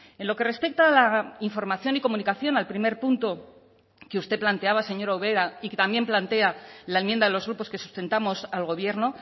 en lo que respecta a la información y comunicación al primer punto que usted planteaba señora ubera y que también plantea la enmienda de los grupos que sustentamos al gobierno